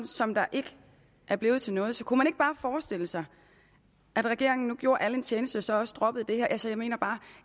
som ikke er blevet til noget så kunne man ikke bare forestille sig at regeringen nu gjorde alle en tjeneste og så også droppede det her altså jeg mener bare